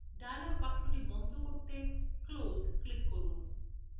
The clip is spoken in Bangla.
dialog box বন্ধ করতে close এ click করুন